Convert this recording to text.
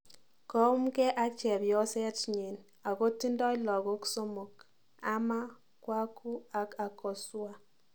Koumge ak chepyoset nyin ako tindoi lagok somik Ama, Kwaku ak Akosua